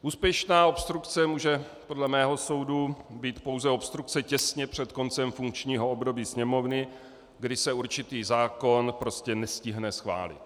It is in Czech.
Úspěšná obstrukce může podle mého soudu být pouze obstrukce těsně před koncem funkčního období Sněmovny, kdy se určitý zákon prostě nestihne schválit.